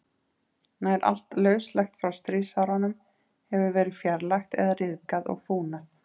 Nær allt lauslegt frá stríðsárunum hefur verið fjarlægt eða ryðgað og fúnað.